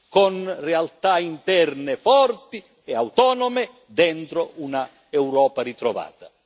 con realtà interne forti e autonome dentro un'Europa ritrovata.